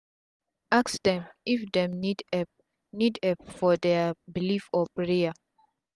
ask dem if dem need epp need epp for dia belief or prayer